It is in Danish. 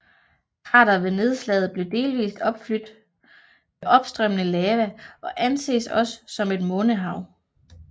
Krateret ved nedslaget blevet delvist opflydt med opstrømmende lava og anses også som et månehav